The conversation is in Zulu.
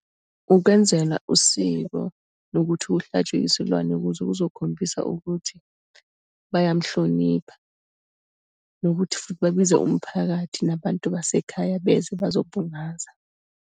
Ukwenzelwa usiko lokuthi kuhlatshwe isilwane ukuze kuzokhombisa ukuthi bayamuhlonipha, nokuthi futhi babiza umphakathi nabantu basekhaya beze bazobungaza.